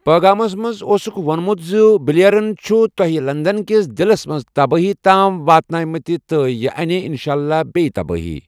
پٲغامَس منٛز اوسُکھ ووٚنمُت زِ 'بلیئرَن چھُ تۄہہِ لندن کِس دِلَس منٛز تبٲہی تام واتنٲومٕتہِ ، تہٕ یہِ اَنہِ انشاء اللہ بیٚیہِ تبٲہی